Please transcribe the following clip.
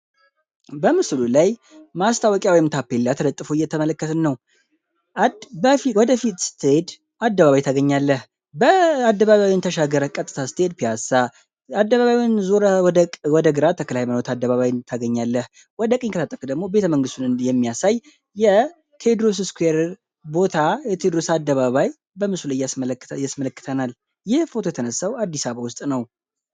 በምስሉ ላይ ማስታወቂያ ወይምታፔላ ተለጠፎ እየተመለከትነው ወደፊት አደባባይ ተገኘ ተሻገር ወደ ግራ ተክለሃይማኖት አደባባይ ታገኛለህ የሚያሳይ የቴድሮስ አደባባይ በምስል እያስመለከተናል የተነሳው አዲስ አበባ ውስጥ ነውነ።